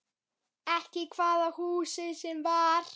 Ekki hvaða húsi sem var.